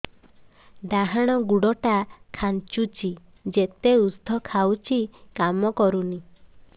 ଡାହାଣ ଗୁଡ଼ ଟା ଖାନ୍ଚୁଚି ଯେତେ ଉଷ୍ଧ ଖାଉଛି କାମ କରୁନି